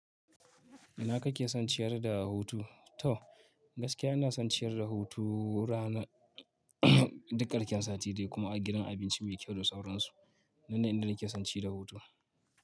Ina kake son ciyar da hutu? To gaskiya ina son ciyar da hutu ranar duk ƙarshen sati dai kuma a gidan abinci mai kyau da sauransu. Nan da nan nake son ciyar da hutu.